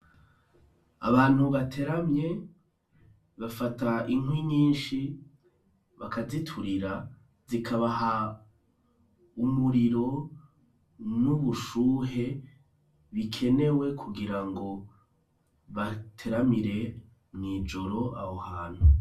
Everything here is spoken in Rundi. Abantu bateramye, bafata inkwi nyinshi bakaziturira, zikabaha umuriro n'ubushuhe bikenewe, kugira ngo bateramire mw'ijoro, aho hantu.